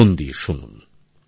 মন দিয়ে শুনুন